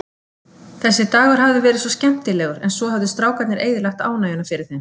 Þessi dagur hafði verið svo skemmtilegur, en svo höfðu strákarnir eyðilagt ánægjuna fyrir þeim.